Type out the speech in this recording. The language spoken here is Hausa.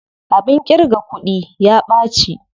Abin ƙirga kuɗin ya ɓaci.